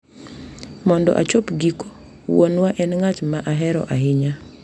Mondo achop giko, wuonwa en ng’at ma ahero ahinya .